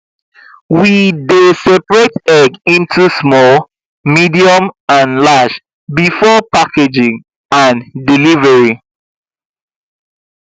we dey separate egg into small medium and large before packaging and delivery